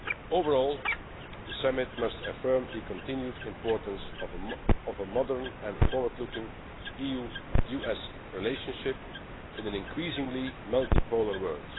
purposes. Overall, the Summit must affirm the continued importance of a modern and forward looking EU US relationship in an increasingly multi polar